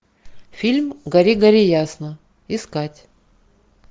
фильм гори гори ясно искать